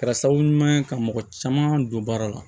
Kɛra sababu ɲuman ye ka mɔgɔ caman don baara la